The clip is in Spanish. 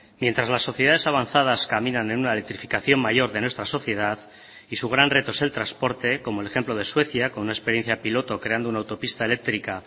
mientras las sociedades avanzadas caminan en una electrificación mayor de nuestra sociedad y su gran reto es el transporte como el ejemplo de suecia con una experiencia piloto creando una autopista eléctrica